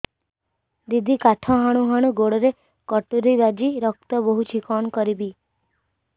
ଦିଦି କାଠ ହାଣୁ ହାଣୁ ଗୋଡରେ କଟୁରୀ ବାଜି ରକ୍ତ ବୋହୁଛି କଣ କରିବି